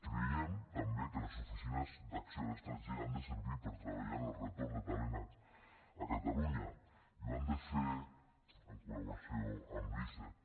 creiem també que les oficines d’acció a l’estranger han de servir per treballar en el retorn de talent a catalunya i ho han de fer en col·laboració amb l’icex